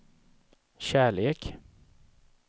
kärlek